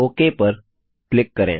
okay पर click करें